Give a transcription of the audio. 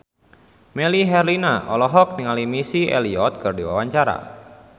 Melly Herlina olohok ningali Missy Elliott keur diwawancara